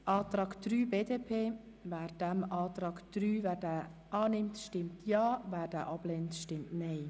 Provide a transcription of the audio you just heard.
Wer den Antrag BDP betreffend Auflage 3 annimmt, stimmt Ja, wer diesen ablehnt, stimmt Nein.